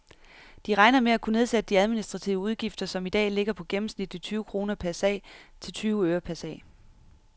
De regener med at kunne nedsætte de administrative udgifter, som i dag ligger på gennemsnitligt tyve kroner per sag, til tyve øre per sag.